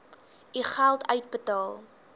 u geld uitbetaal